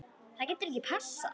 Það getur passað.